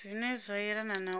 zwine zwa yelana na u